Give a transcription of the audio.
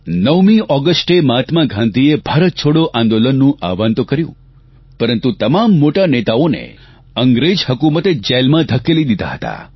9મી ઓગષ્ટે મહાત્મા ગાંધીએ ભારત છોડો આંદોલનનું આહવાન તો કર્યું પરંતુ તમામ મોટા નેતાઓને અંગ્રેજ હકુમતે જેલમાં ઘકેલી દીધા હતા